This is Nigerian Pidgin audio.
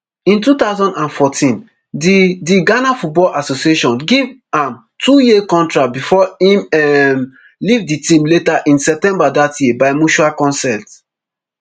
in two thousand and fourteen di di ghana football association give am twoyear contract bifor im um leave di team later in september dat year by mutual consent